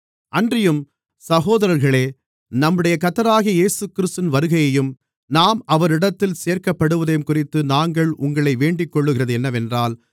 அன்றியும் சகோதரர்களே நம்முடைய கர்த்தராகிய இயேசுகிறிஸ்துவின் வருகையையும் நாம் அவரிடத்தில் சேர்க்கப்படுவதையும்குறித்து நாங்கள் உங்களை வேண்டிக்கொள்ளுகிறது என்னவென்றால்